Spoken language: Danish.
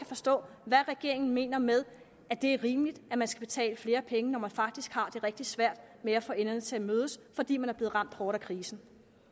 forstå hvad regeringen mener med at det er rimeligt at man skal betale flere penge når man faktisk har rigtig svært ved at få enderne til at mødes fordi man er blevet ramt hårdt af krisen